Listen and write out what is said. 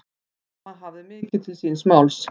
Mamma hafði mikið til síns máls.